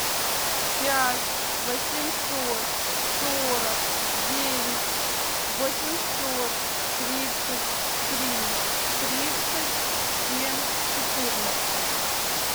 пять восемьсот сорок девять восемьсот тридцать три тридцать семь четырнадцать